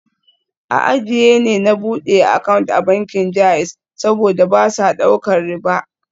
A jiya ne na bude account a bankin JAIZ, saboda ba sa daukar riba